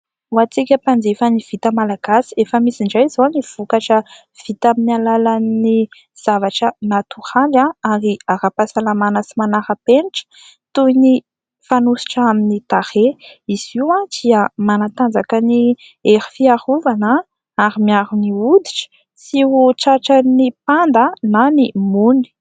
Ho antsika mpanjifa ny vita malagasy efa misy indray izao ny vokatra vita amin'ny alalan'ny zavatra natoraly ary ara-pahasalamana sy manara-penitra toy ny fanosotra amin'ny tarehy. Izy io dia manatanjaka ny hery fiarovana ary miaro ny hoditra tsy ho tratra ny mpanda na ny mony.